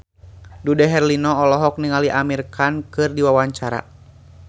Dude Herlino olohok ningali Amir Khan keur diwawancara